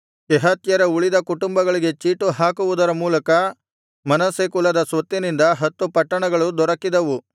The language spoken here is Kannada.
ಕೆಹಾತ್ಯರ ಉಳಿದ ಕುಟುಂಬಗಳಿಗೆ ಚೀಟು ಹಾಕುವುದರ ಮೂಲಕ ಮನಸ್ಸೆ ಕುಲದ ಸ್ವತ್ತಿನಿಂದ ಹತ್ತು ಪಟ್ಟಣಗಳು ದೊರಕಿದವು